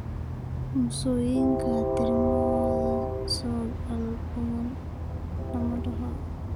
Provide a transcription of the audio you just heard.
Mosaika trisomy sagal badanaa lama dhaxlo.